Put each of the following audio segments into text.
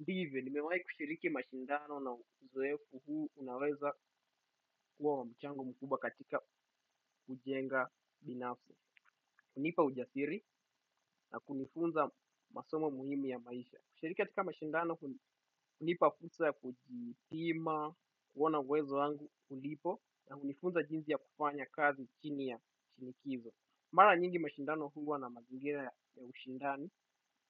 Ndivyo, nimewai kushiriki mashindano na uzoefu huu unaweza kuwa wamuchango mkuba katika ujenga binafsi. Hunipa ujasiri na kunifunza masomo muhimu ya maisha. Kushiriki katika mashindano huu, hunipa fulsa ya kujitima, kuwana uwezo wangu ulipo na hunifunza jinzi ya kufanya kazi chini ya shinikizo. Mara nyingi mashindano huwa na mazingira ya ushindani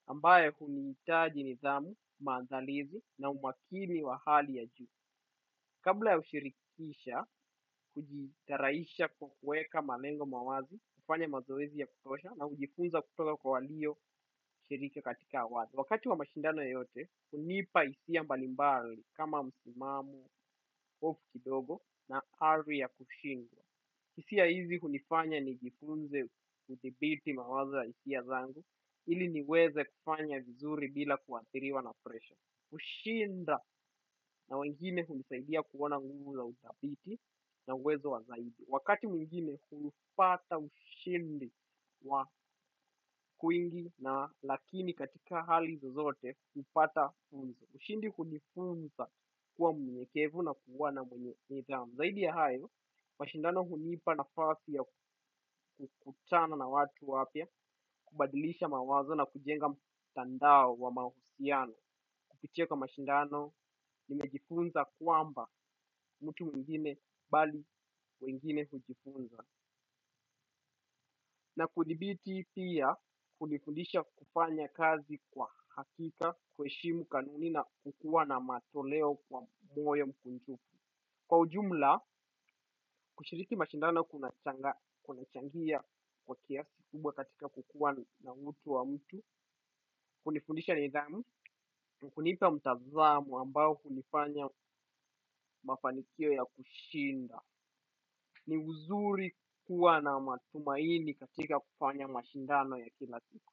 ambaye huniitaji nidhamu, maandalizi na umakini wa hali ya juu. Kabla ya ushirikisha, hujitaraisha kukueka malengo mawazi, ufanya mazoezi ya kutosha na ujifunza kutoka kwa walio shirika katika wazi. Wakati wa mashindano yote, unipa isia mbalimbali kama musimamo, of kidogo na ari ya kushinda. Kisia hizi hunifanya ni jifunze kudhibiti mawaza ya isia zangu, ili niweze kufanya vizuri bila kuathiriwa na presha. Ushinda na wengine hunisaidia kuona nguvu za utabiti na uwezo wa zaidi. Wakati mwingine hupata ushindi wa kuingi na lakini katika hali zozote hupata funzo. Ushindi hunifunza kuwa mnyenyekevu na kuwa na mwenye nidhamu. Zaidi ya hayo, mashindano hunipa na fasi ya kukutana na watu wapya kubadilisha mawazo na kujenga mtandao wa mahusiano. Kupitia kwa mashindano nimejifunza kuamba mutu mwingine bali mwingine hujifunza. Na kudibiti pia hunifundisha kupanya kazi kwa hakika kwe shimu kanuni na kukua na matoleo kwa moyo mkunjuku. Kwa ujumla, kushiriki mashindano kunachangia kwa kiasi kubwa katika kukuwa na utu wa mutu, kunifundisha nidhamu, mkunipa mtazamo ambao kunifanya mafanikio ya kushinda. Ni uzuri kukuwa na matumaini katika kufanya mashindano ya kila siku.